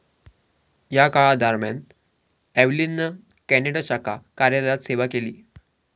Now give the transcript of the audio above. या काळादरम्यान एव्हलिननं कॅनडा शाखा कार्यालयात सेवा केली.